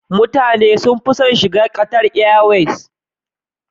Mutane suna sun fi son shiga Qatar airways